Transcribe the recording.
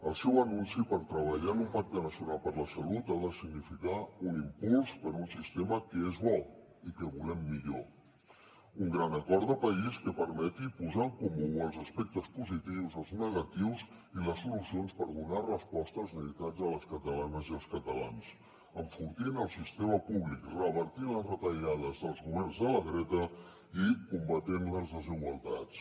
el seu anunci per treballar en un pacte nacional per la salut ha de significar un impuls per a un sistema que és bo i que volem millor un gran acord de país que permeti posar en comú els aspectes positius els negatius i les solucions per donar resposta a les necessitats de les catalanes i els catalans enfortint el sistema públic revertint les retallades dels governs de la dreta i combatent les desigualtats